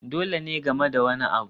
Dole ne game da wani abu